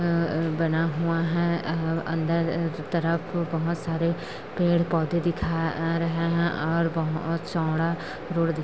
अ बना हुआ है अ अन्दर की तरफ बहुत सारे पेड़-पौधे दिखाई दे रहा है अ और बहोत चौड़ा रोड दिख--